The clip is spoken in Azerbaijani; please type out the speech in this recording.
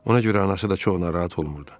Ona görə anası da çox narahat olmurdu.